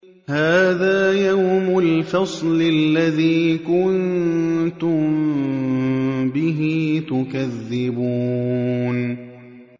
هَٰذَا يَوْمُ الْفَصْلِ الَّذِي كُنتُم بِهِ تُكَذِّبُونَ